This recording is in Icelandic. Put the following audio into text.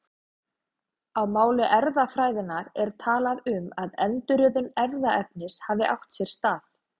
Á máli erfðafræðinnar er talað um að endurröðun erfðaefnis hafi átt sér stað.